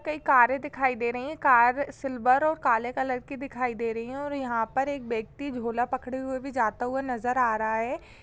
कई कारें दिखाई दे रही हैं कार सिल्वर और काले कलर की दिखाई दे रही है और यहां पर एक व्यक्ति झोला पकड़े हुए भी जाता हुआ नजर आ रहा है।